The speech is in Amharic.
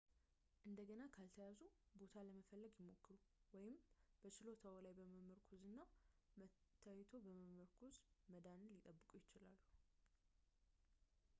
እንደገና ካልተያዙበት ቦታ ለመፈለግ ይሞክሩ ወይም በችሎታዎ ላይ በመመርኮዝ እና መታየቶ ላይ በመመርኮዝ መዳንን ሊጠብቁ ይችላሉ